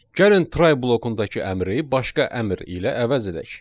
Gəlin try blokundakı əmri başqa əmr ilə əvəz edək.